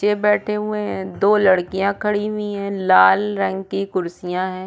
Chair बैठे हुए है दो लड़किया खड़ी हुई है लाल रंग की कुर्सिया है।